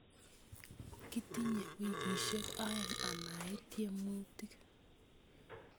Kitinye wikisyek aeng' amait tyemutik